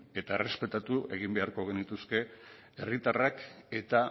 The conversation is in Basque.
eta errespetatu egin beharko genituzke herritarrak eta